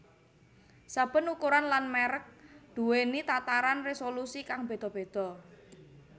Saben ukuran lan mèrek duwèni tataran résolusi kang béda béda